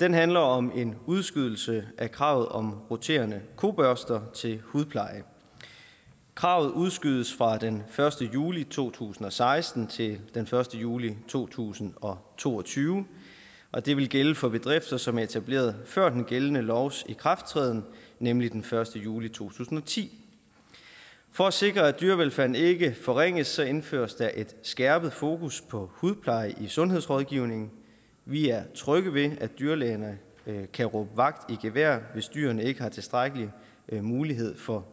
den handler om en udskydelse af kravet om roterende kobørster til hudpleje kravet udskydes fra den første juli to tusind og seksten til den første juli to tusind og to og tyve og det vil gælde for bedrifter som er etableret før den gældende lovs ikrafttræden nemlig den første juli to tusind og ti for at sikre at dyrevelfærden ikke forringes indføres der et skærpet fokus på hudpleje i sundhedsrådgivningen vi er trygge ved at dyrlægerne kan råbe vagt i gevær hvis dyrene ikke har tilstrækkelig mulighed for